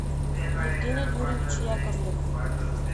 евгений юрьевич яковлев